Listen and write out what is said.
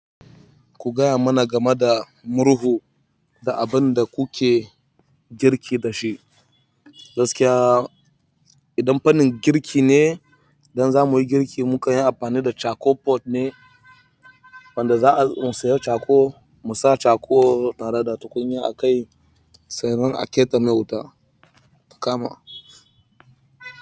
Ku gaya mana game da murhu da abin da kuke girki da shi. Gaskiya, idan fannin girki ne, don zamuyi girki muka yi amfani da "Charcoal pot" ne wanda za'a in saya chakol, mu sa yi chakol tare da tukunya a kai, sannan a ke ɗana wuta ya kama.